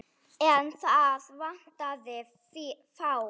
En þá vantaði fé.